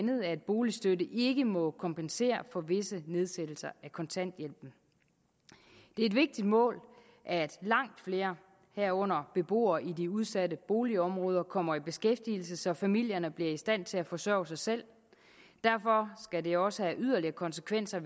boligstøtten ikke må kompensere for visse nedsættelser af kontanthjælpen det er et vigtigt mål at langt flere herunder beboere i de udsatte boligområder kommer i beskæftigelse så familierne bliver i stand til at forsørge sig selv derfor skal det også have yderligere konsekvenser